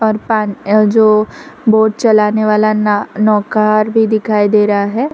और जो बोट चलाने वाला नौ नौकार भी दिखाई दे रहा है।